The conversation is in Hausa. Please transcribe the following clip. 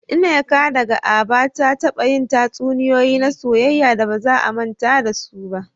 Nneka, daga Aba, ta taba yin tatsuniyoyi na soyayya da ba za a manta da su ba.